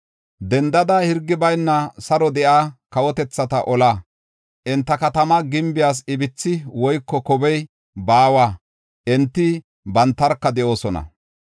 “Dendada; hirgi bayna saro de7iya kawotethata ola. Enta katama gimbiyas ibithi woyko kobey baawa; enti bantarka de7oosona.